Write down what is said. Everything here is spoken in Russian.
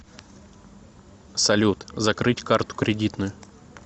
салют закрыть карту кредитную